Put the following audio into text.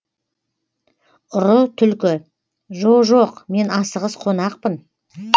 ұры түлкі жо жоқ мен асығыс қонақпын